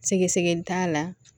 Sɛgɛsɛgɛli t'a la